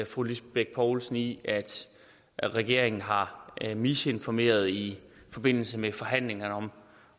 fru lisbeth bech poulsen i at regeringen har misinformeret i forbindelse med forhandlingerne